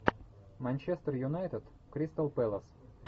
манчестер юнайтед кристал пэлас